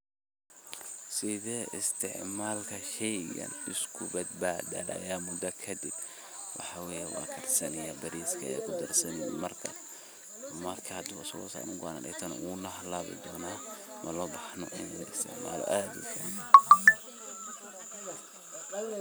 Sethi isticamalka sheeygan kubadbathay muda kadib waxaa waye waxa karsani bariska margaay xasusani wuuna halabi donah malo bahnoo ini la isticmaloh oo aad.